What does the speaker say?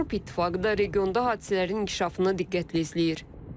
Avropa İttifaqı da regionda hadisələrin inkişafını diqqətlə izləyir.